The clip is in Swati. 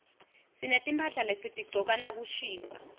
sinetimphahla lesitigcoka nakushisa